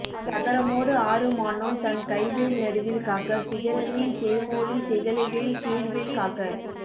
சகரமோடு ஆறும் ஆனோன் தன் கைவேல் நடுவில் காக்க சிகரமின் தேமோலி திகழைவேல் கீழ்மேல் காக்க